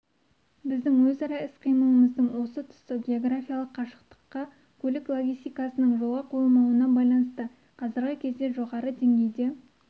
біздің өзара іс-қимылымыздың осы тұсы географиялық қашықтыққа көлік логистикасының жолға қойылмауына байланысты қазіргі кезде жоғары деңгейде